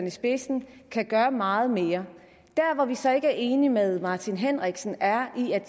i spidsen kan gøre meget mere der hvor jeg så ikke er enig med herre martin henriksen er at